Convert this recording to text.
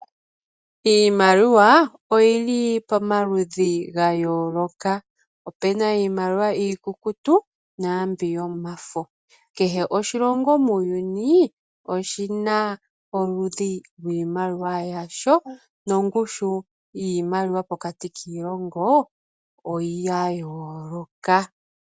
Iimaliwa oyili pamaludhi ga yoloka, opuna iimaliwa iikukutu nambyoka yomafo. Kehe oshilongo muuyuni oshina oludhi lwiimaliwa yasho nongushu yiimaliwa pokati kiilongo oya yoloka.